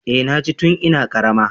Eh na ci tun ina karama